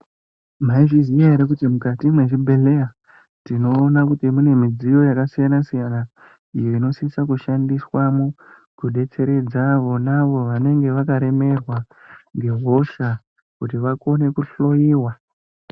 Mwaizviziya here kuti mukati mwezvibhedhlera tinoona kuti mune midziyo yakasiyana-siyana iyo inosisa kushandiswamo kudetseredza vona vanenge vakaremerwa ngehosha kuti vakone kuhloiwa.